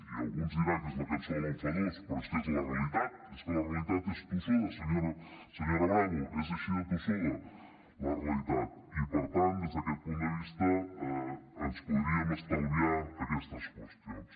i algú ens dirà que és la cançó de l’enfadós però és que és la realitat és que la realitat és tossuda senyora bravo és així de tossuda la realitat i per tant des d’aquest punt de vista ens podríem estalviar aquestes qüestions